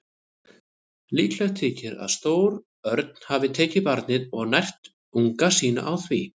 Líklegt þykir að stór örn hafi tekið barnið og nært unga sína á því.